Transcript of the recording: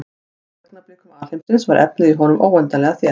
Á fyrstu augnablikum alheimsins var efnið í honum óendanlega þétt.